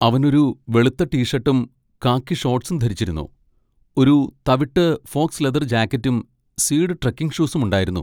അവൻ ഒരു വെളുത്ത ടീ ഷർട്ടും കാക്കി ഷോർട്ട്സും ധരിച്ചിരുന്നു, ഒരു തവിട്ട് ഫോക്സ് ലെതർ ജാക്കറ്റും സ്വീഡ് ട്രെക്കിംഗ് ഷൂസും ഉണ്ടായിരുന്നു.